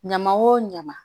Ɲaman wo ɲama